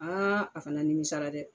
Aa , a fana nimisala dɛ!